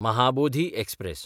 Mahabodhi express